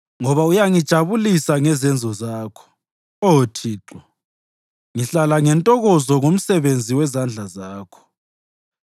Ngoba uyangijabulisa ngezenzo zakho, Oh Thixo; ngihlala ngentokozo ngomsebenzi wezandla zakho.